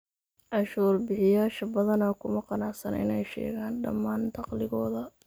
Cashuur bixiyayaasha badanaa kuma qanacsana inay sheegaan dhammaan dakhligooda.